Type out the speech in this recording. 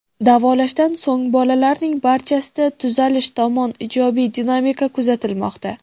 Davolashdan so‘ng bolalarning barchasida tuzalish tomon ijobiy dinamika kuzatilmoqda.